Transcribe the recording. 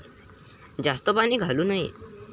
जास्त पाणी घालू नये.